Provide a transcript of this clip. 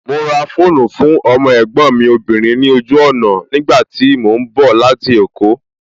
Mo ra fóònù fún ọmọ ẹ̀gbọ́n mi obìnrin ní ojú ọ̀nà ní ìgbà tí mo ń bọ̀ láti èkó